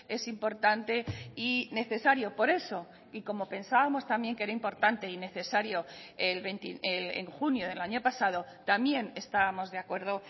es importante y necesario por eso y como pensábamos también que era importante y necesario en junio del año pasado también estábamos de acuerdo